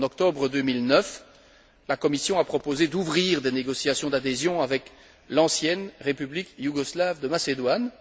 En octobre 2009, la Commission a proposé d'ouvrir des négociations d'adhésion avec l'ancienne République yougoslave de Macédoine.